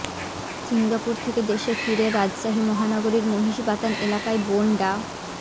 Singapore থেকে দেশে ফিরে রাজশাহী মহানগরীর মহিষবাতান এলাকায় বোন ডা